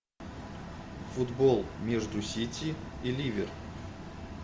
футбол между сити и ливер